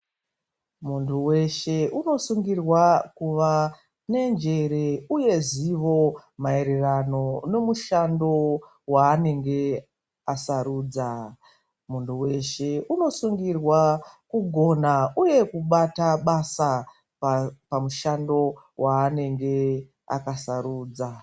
Mundu weshe unosungirwa kuva nenjere uye neruzivo maererano nomushando waanenge asarudza. Munhu weshe anosungirwa kugona uye kubata basa pamushando waanenge akasarudza.